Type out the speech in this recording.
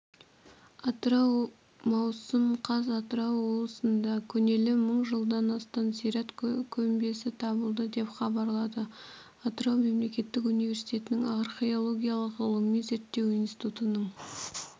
атырау маусым қаз атырау облысында көнелігі мың жылдан асатын зират көмбесі табылды деп хабарлады атырау мемлекеттік университетінің археологиялық ғылыми зерттеу институтының